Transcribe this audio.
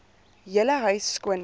hele huis skoonmaak